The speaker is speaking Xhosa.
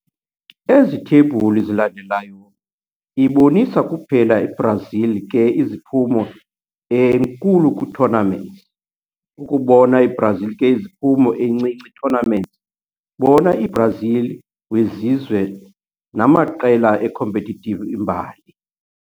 Ezi thebhule zilandelayo ibonisa kuphela Brazil ke iziphumo enkulu kwi-tournaments. Ukubona Brazil ke iziphumo encinci tournaments, bona i-Brazil wezizwe namaiqela competitive imbali